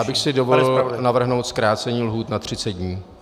Já bych si dovolil navrhnout zkrácení lhůty na 30 dní.